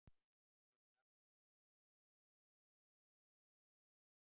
Ég gafst ekki upp í einvígi mínu við markmanninn.